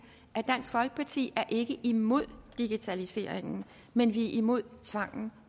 at dansk folkeparti ikke er imod digitaliseringen men vi er imod tvangen